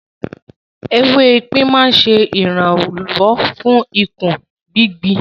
Ewé epin máa ń ṣe ìrànwọ́ ìkún gbigbi.